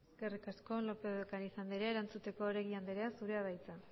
eskerrik asko lópez de ocariz anderea erantzuteko oregi anderea zurea da hitza